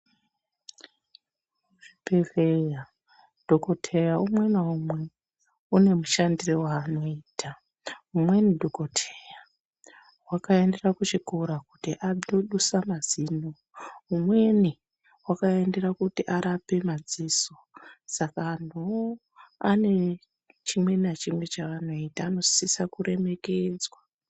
Muzvibhedhlera ndogodheya umwe naumwe une mushandiro waanoita, umweni dhogodheya wakaendera kuchikora kuti adusa mazino, umweni wakaendera kuti arape madziso saka anhu woo ane chimwe nachimwe chavanoita, anosiswa kuremekedzwa.